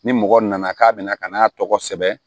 Ni mɔgɔ nana k'a bɛna ka n'a tɔgɔ sɛbɛn